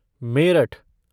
Meerut